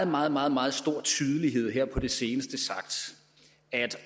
meget meget meget stor tydelighed her på det seneste sagt at